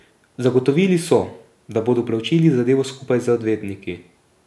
Zagotovili so, da bodo preučili zadevo skupaj z odvetniki.